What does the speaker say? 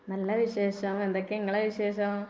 നല്ല വിശേഷം എന്തൊക്കെ നിങ്ങളെ വിശേഷം?